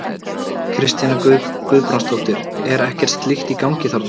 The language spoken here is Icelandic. Kristjana Guðbrandsdóttir: Er ekkert slíkt í gangi þarna?